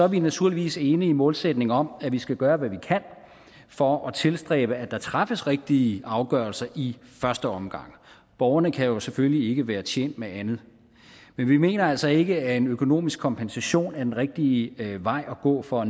vi naturligvis enige i målsætningen om at vi skal gøre hvad vi kan for at tilstræbe at der træffes rigtige afgørelser i første omgang borgerne kan jo selvfølgelig ikke være tjent med andet men vi mener altså ikke at en økonomisk kompensation er den rigtige vej at gå for